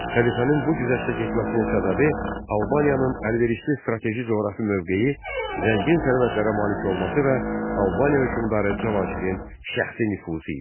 Xəlifənin bu güzəştə getməsinin səbəbi Albaniyanın əlverişli strateji coğrafi mövqeyi, zəngin sərvətlərə malik olması və Albaniya hökmdarı Cavanşirin şəxsi nüfuzu idi.